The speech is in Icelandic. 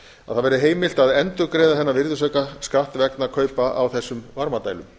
að það verði heimilt að endurgreiða þennan virðisaukaskatt vegna kaupa á þessum varmadælum